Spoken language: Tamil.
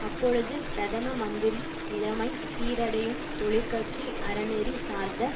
அப்பொழுது பிரதம மந்திரி நிலைமை சீரடையும் தொழிற்கட்சி அறநெறி சார்ந்த